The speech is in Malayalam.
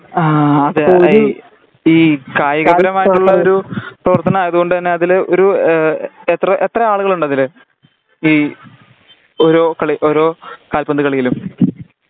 ആ അത് ഈ ഈ കായികപരമായിട്ടുള്ള ഒരു പ്രവർത്തനം ആയത്കൊണ്ട് തന്നെ അതില് ഒരു എത്ര എത്ര ആളുകളുണ്ട് അതില് ഈ ഓരോ കളി ഓരോ കാൽപ്പന്ത് കളിയിലും